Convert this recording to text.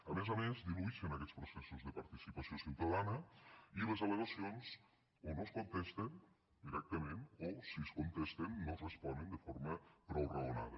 a més a més diluïxen aquests processos de participació ciutadana i les al·legacions o no es contesten directament o si es contesten no es responen de forma prou raonada